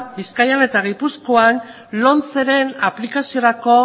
bizkaian eta gipuzkoan lomceren aplikaziorako